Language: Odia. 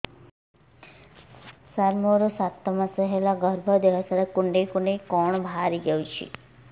ସାର ମୋର ସାତ ମାସ ହେଲା ଗର୍ଭ ଦେହ ସାରା କୁଂଡେଇ କୁଂଡେଇ କଣ ବାହାରି ଯାଉଛି